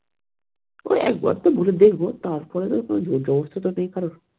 ওই একবার তো বলে দেখবো তারপরে তো জোর জবরদস্তি নেই কারোর